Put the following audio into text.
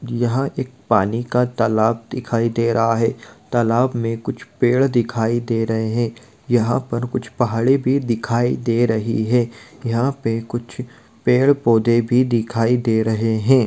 यहाँ एक पानी का तालाब दिखाई दे रहा है| तालाब में कुछ पेड़ दिखायी दे रहे हैं| यहाँ पर कुछ पहाड़े भी दिखाई दे रही है| यहाँ पे कुछ पेड़ पौधे भी दिखाई दे रहे है।